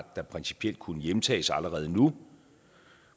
der principielt kunne hjemtages allerede nu